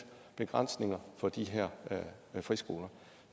begrænsninger for de her friskoler